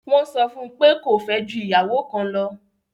Wọ́n sọ fún pé kó fẹ́ ju ìyàwó kan lọ!